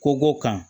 Kogo kan